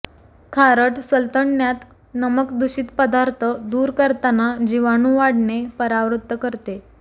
खारट सल्तनण्यात नमक दूषित पदार्थ दूर करताना जीवाणू वाढणे परावृत्त करते